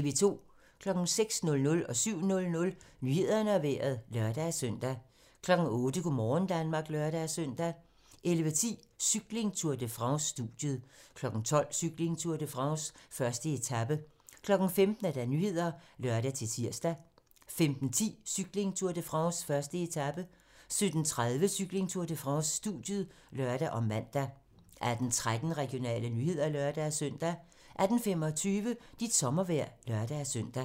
06:00: Nyhederne og Vejret (lør-søn) 07:00: Nyhederne og Vejret (lør-søn) 08:00: Go' morgen Danmark (lør-søn) 11:10: Cykling: Tour de France - studiet 12:00: Cykling: Tour de France - 1. etape 15:00: Nyhederne (lør-tir) 15:10: Cykling: Tour de France - 1. etape 17:30: Cykling: Tour de France - studiet (lør og man) 18:13: Regionale nyheder (lør-søn) 18:25: Dit sommervejr (lør-søn)